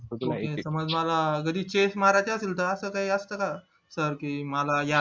मला जरी chest मारायची असेल तर असं काय असतना जर की मला